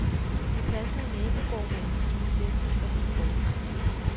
Vi passede nabogårdmandens besætning, da han var bortrejst.